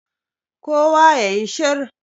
kowa ya yi shir!